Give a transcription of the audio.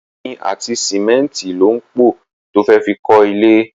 Omi àti sìmẹ́nìtì ló ń pọ to fẹ́ fi kọ ilé.